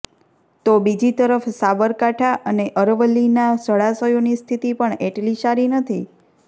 તો બીજી તરફ સાબરકાંઠા અને અરવલ્લીના જળાશયોની સ્થિતિ પણ એટલી સારી નથી